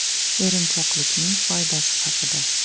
Erinchoqlikning foydasi haqida.